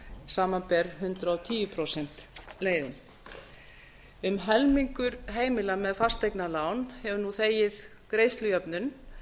samanber hundrað og tíu prósenta leiðina um helmingur heimila með fasteignalán hefur nú þegið greiðslujöfnun